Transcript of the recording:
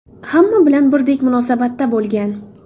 Hamma bilan birdek munosabatda bo‘lgan.